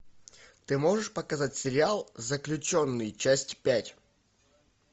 ты можешь показать сериал заключенный часть пять